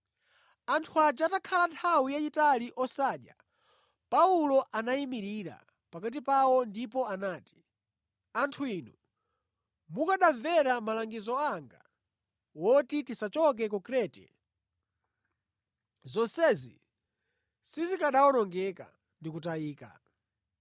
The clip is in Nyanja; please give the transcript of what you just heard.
Anthu aja atakhala nthawi yayitali osadya, Paulo anayimirira pakati pawo ndipo anati, “Anthu inu, mukanamvera malangizo anga oti tisachoke ku Krete: zonsezi sizikanawonongeka ndi kutayika.